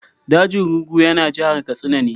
Dajin Rugu yana jihar Katsina ne.